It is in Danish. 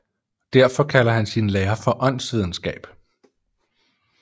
Derfor kalder han sin lære for åndsvidenskab